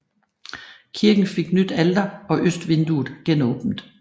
Kirken fik nyt alter og østvinduet genåbnet